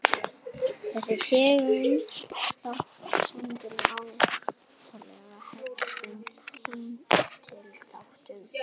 Þessi tegund þátta stendur nálægt hefðbundnum heimildaþáttum.